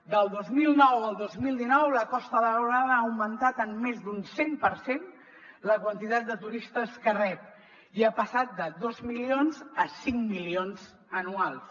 del dos mil nou al dos mil dinou la costa daurada ha augmentat en més d’un cent per cent la quantitat de turistes que rep i ha passat de dos milions a cinc milions anuals